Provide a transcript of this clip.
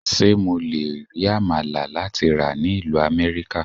Ṣé mo le rí Àmàlà láti rà ní ìlú Amẹ́ríkà?